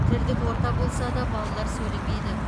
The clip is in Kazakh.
тілдік орта болса да балалар сөйлемейді